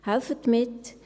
Helfen Sie mit!